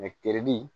Mɛ teri